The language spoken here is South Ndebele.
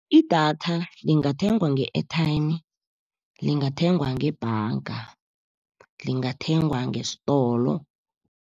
Idatha lingathengwa nge-airtime, lingathengwa ngebhanga, lingathengwa ngesitolo.